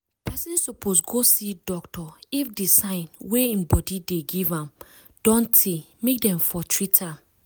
person suppose go see doctor if the sign wey im body dey give am don tey make dem for treat am